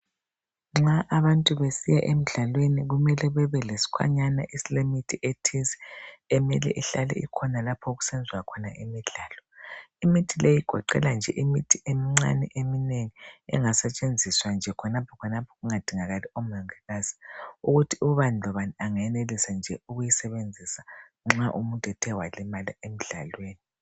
Nxa abantu besiya emidlalweni kumele bebe lesikhwanyana esilemithi ethize emele ihlale ikhona lapho kusenziwa khona imidlalo, Imithi leyi igoqela nje imithi emincane eminengi engasetshenziswa nje khonapha khonapha kungadingeki omongikazi, ukuthi ubani lobani angayenelisa nje ukuyisebenzisa nxa umuntu ethe walimala emdlalweni.